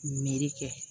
Miiri kɛ